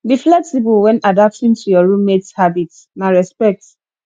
be flexible when adapting to your roommates habits na respect